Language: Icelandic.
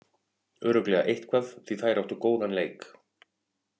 Örugglega eitthvað, því þær áttu góðan leik.